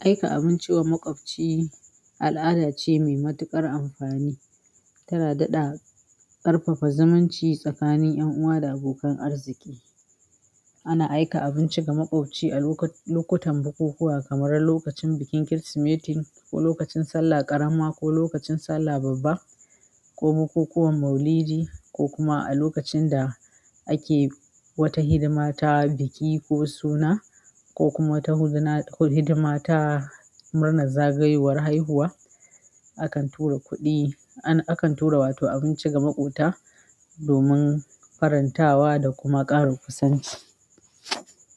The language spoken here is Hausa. Aika abinci wa makwabci al'ada ce mai matuƙar amfani, tana daɗa ƙarfafa zumunci tsakanin 'yan uwa da abokan arziki. Ana aika abinci ga maƙoci a loku-lokutan bukukuwa kamar lokacin bikin Kirsimeti ko lokacin Sallah ƙarama ko lokacin Sallah babba ko bukukuwan Maulidi, ko kuma a lokacin da ake wata hidima ta biki ko suna, ko kuma wata huzna ko hidima ta murnar zagayowar haihuwa. Akan tura kuɗi, akan tura wato abinci ga maƙwabta domin farantawa da kuma ƙaro kusanci.